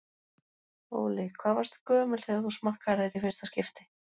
Óli: Hvað varstu gömul þegar þú smakkaðir þetta í fyrsta skipti?